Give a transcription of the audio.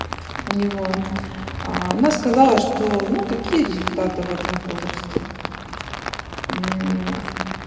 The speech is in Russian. у него она сказала что ну какие результаты в этом возрасте